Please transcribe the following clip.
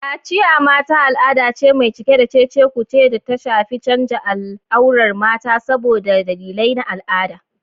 Kaciya (Mata): Al'ada ce mai cike da cece-kuce da ta shafi canza al'aurar mata saboda dalilai na al'ada.